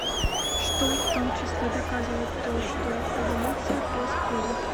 что в том числе доказывает то что эволюция происходит